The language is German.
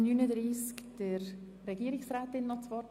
Ich erteile Regierungsrätin Egger das Wort.